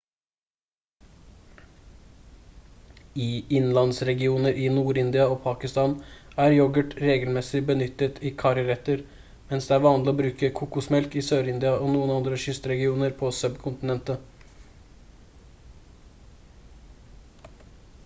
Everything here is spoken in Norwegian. i innlandsregioner i nord-india og pakistan er yoghurt regelmessig benyttet i karriretter mens det er vanlig å bruke kokosmelk i sør-india og noen andre kystregioner på subkontinentet